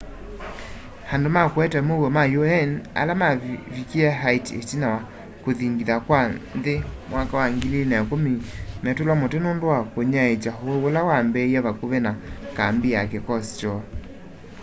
andu ma kuete muuo ma un ala mavikie haiti itina wa kuthingitha kwa nthi 2010 metulwa muti nundu wa kunyaiikya uwau ula wambiie vakuvi na kambi ya kikosi kyoo